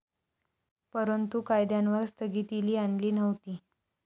परंतु, कायद्यांवर स्थगितीली आणली नव्हती.